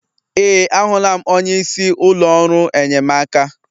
Ee, ahụla m onye isi ụlọ ọrụ enyemaka.